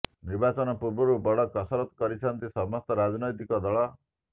ନିର୍ବାଚନ ପୂର୍ବରୁ ବଡ କସରତ କରିଛନ୍ତି ସମସ୍ତ ରାଜନୈତିକ ଦଳ